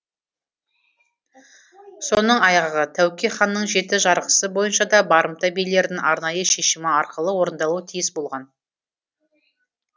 соның айғағы тәуке ханның жеті жарғысы бойынша да барымта билердің арнайы шешімі арқылы орындалуы тиіс болған